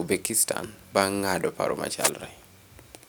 Uzbekistan bang' ng'ado paro machalre.